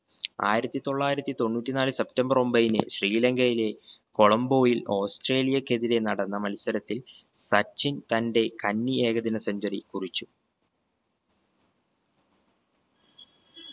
ആയിരത്തി തൊള്ളായിരത്തി തൊണ്ണൂറ്റി നാല് സെപ്റ്റംബർ ഒമ്പതിന് ശ്രീലങ്കയിലെ കൊളംബോയിൽ ഓസ്‌ട്രേലിയക്ക് എതിരെ നടന്ന മത്സരത്തിൽ സച്ചിൻ തന്റെ കഞ്ഞി ഏകദിനാ centuary കുറിച്ചു